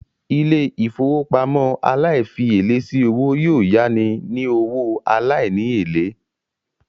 Ilé-ìfowópamọ́ aláìfièlé sí owó yóò yání owó aláìní èlé